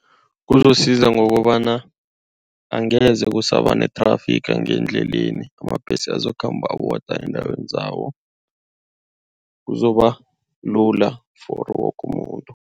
Kuzosiza ngokobana angeze kusaba nethrafigi endleleni. Amabhesi azokukhamba awodwa eendaweni zabo kuzoba lula for woke umuntu.